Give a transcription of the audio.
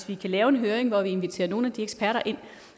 vi kan lave en høring hvor vi inviterer nogle af de eksperter ind